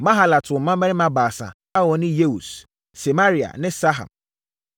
Mahalat woo mmammarima baasa a wɔne Yeus, Semaria ne Saham.